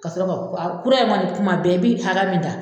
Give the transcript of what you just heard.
Ka sɔrɔ ka ku kura in kɔni kuma bɛɛ i bɛ hakɛya min ta